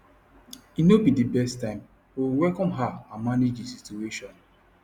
e no be the best time but we welcome her and manage the situation